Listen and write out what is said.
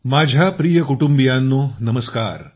माझ्या प्रिय कुटुंबियांनो नमस्कार